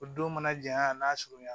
O don mana janya n'a surunya na